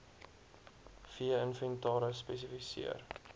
vee inventaris spesifiseer